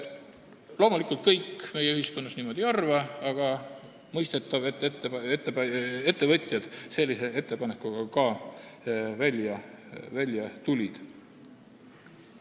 Loomulikult, kõik inimesed niimoodi ei arva, aga on mõistetav, et ettevõtjad sellise ettepanekuga välja tulid.